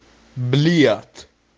бильярд